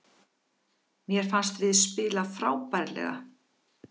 Mér fannst við spila frábærlega